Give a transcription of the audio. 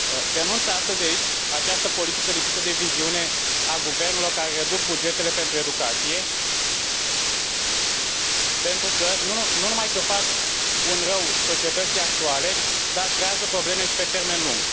Denunț astăzi aici această politică lipsită de viziune a guvernelor care reduc bugetele pentru educație, pentru că nu numai că fac un rău societății actuale, dar creează probleme și pe termen lung.